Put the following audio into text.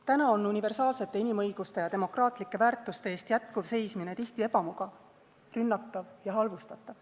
Täna on universaalsete inimõiguste ja demokraatlike väärtuste eest jätkuv seismine tihti ebamugav, rünnatav ja halvustatav.